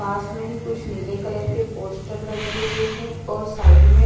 पास में ही कुछ नीले कलर के पोस्टर लगे हुए हैं और साइड में--